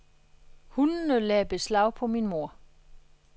Hundene lagde beslag på mn mor.